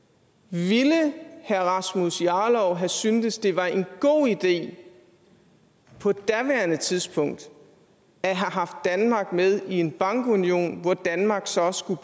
ville herre rasmus jarlov have syntes det var en god idé på daværende tidspunkt at have haft danmark med i en bankunion hvor danmark så skulle